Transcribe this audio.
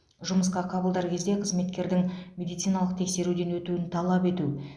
жұмысқа қабылдар кезде қызметкердің медициналық тексеруден өтуін талап ету